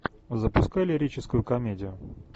запускай лирическую комедию